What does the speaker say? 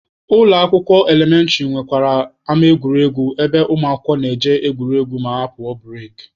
Ụlọ akwụkwọ elementịrị nwekwara ama egwuregwu ebe ụmụakwụkwọ na-eje egwuregwu ma apụọ bureki.